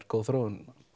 góð þróun